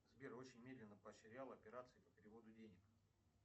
сбер очень медленно поощрял операции по переводу денег